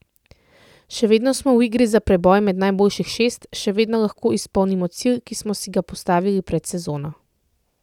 Še vedno smo v igri za preboj med najboljših šest, še vedno lahko izpolnimo cilj, ki smo si ga postavili pred sezono.